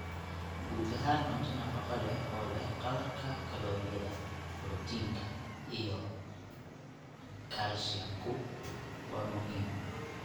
Guud ahaan cunto nafaqo leh oo leh qadarka kalooriyada, borotiinka, iyo kaalshiyamku waa muhiim.